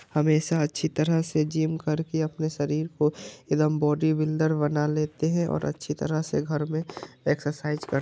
हमेशा अच्छी तरह से जिम करके अपने शरीर को एदम बॉडी बिल्डर बना लेते हैं और अच्छी तरह से घर में एक्सर्साइज़ कर --